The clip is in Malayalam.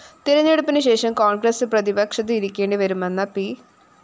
തെരഞ്ഞെടുപ്പിന്‌ ശേഷം കോണ്‍ഗ്രസ്‌ പ്രതിപക്ഷത്ത്‌ ഇരിക്കേണ്ടി വരുമെന്ന പി